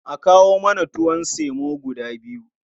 A kawo mana tuwon semo guda biyu.